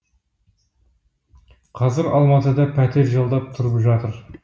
қазір алматыда пәтер жалдап тұрып жатыр